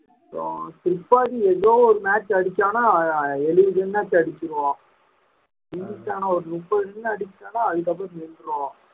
அப்புறம் ஏதோ ஒரு match அடிச்சானாம் எழுபது run அடிச்சிருவான் அடிச்சானா ஒரு முப்பது run அடிச்சான்னா அதுக்கப்புறம் நின்றும்